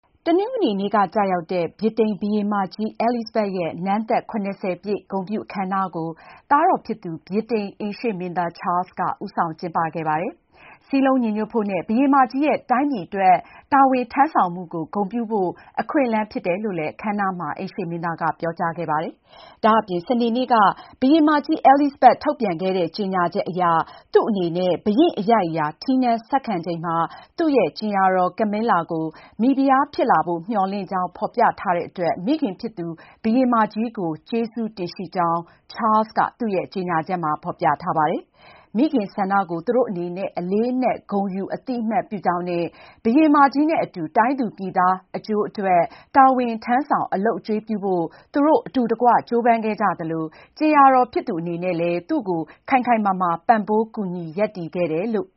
တနင်္ဂနွေနေ့က ကျရောက်တဲ့ ဗြိတိန်ဘုရင်မကြီး အဲလိဇဘက်ရဲ့ နန်းသက် ၇၀ ပြည့် ဂုဏ်ပြုအခမ်းအနားကို သားတော်ဖြစ်သူ ဗြိတိန်အိမ်ရှေ့မင်းသား ချားလ်စ်က ဦးဆောင် ကျင်းပခဲ့ပါတယ်။ စည်းလုံးညီညွတ်ဖို့နဲ့ ဘုရင်မကြီးရဲ့ တိုင်းပြည်အတွက် တာဝန်ထမ်းဆောင်မှုကို ဂုဏ်ပြုဖို့ အခွင့်အလမ်း ဖြစ်တယ်လို့ အခမ်းအနားမှာ အိမ်ရှေ့မင်းသားက ပြောကြားခဲ့ပါတယ်။ ဒါ့အပြင် စနေနေ့က ဘုရင်မကြီး အဲလိဇဘက် ထုတ်ပြန်ခဲ့တဲ့ ကြေညာချက်အရ သူ့အနေနဲ့ ဘုရင့်အရိုက်အရာ ထီးနန်းဆက်ခံချိန်မှာ သူ့ရဲ့ကြင်ယာတော် Camilla ကို မိဖုရားဖြစ်လာဖို့ မျှော်လင့်ကြောင်း ဖော်ပြထားတဲ့အတွက် မိခင်ဖြစ်သူ ဘုရင်မကြီးကို ကျေးဇူးတင်ရှိကြောင်း Charles က သူ့ရဲ့ကြေညာချက်မှာ ဖော်ပြထားပါတယ်။ မိခင်ဆန္ဒကို သူတို့အနေနဲ့ အလေးအနက် ဂုဏ်ယူ အသိအမှတ်ပြုကြောင်းနဲ့ ဘုရင်မကြီးနဲ့အတူ တိုင်းသူပြည်သားတွေ အကျိုးအတွက် တာဝန်ထမ်းဆောင် အလုပ်အကျွေးပြုဖို့ သူတို့ အတူတကွ ကြိုးပမ်းခဲ့ကြသလို ကြင်ယာတော်ဖြစ်သူ အနေနဲ့လည်း သူ့ကို ခိုင်ခိုင်မာမာ ပံ့ပိုးကူညီ ရပ်တည်ခဲ့တယ်လို့